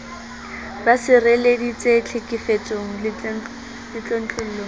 ba sireleditswe tlhekefetsong le tlontlollong